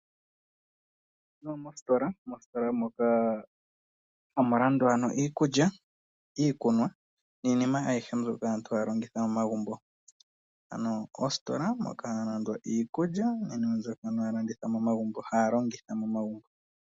Mositola moka hamu landwa iikulya, iikunwa niinima ayihe mbyoka aantu haya longitha momagumbo, ano ositola moka hamu landwa iikulya mbyoka aantu haya longitha momagumbo.